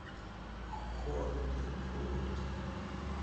холивуд